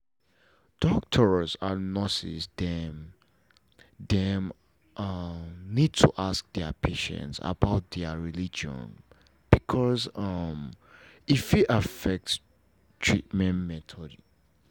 doctors and nurses dem dem um need to ask their patients about their religion because um e fit affect treatment method